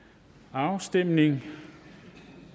afstemningen